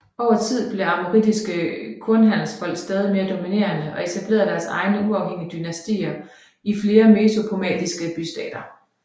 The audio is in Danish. Over tid blev amorittiske kornhandelsfolk stadig mere dominerende og etablerede deres egne uafhængige dynastier i flere mesopotamiske bystater